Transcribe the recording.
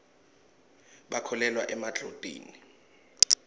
bakholelwa emadlotini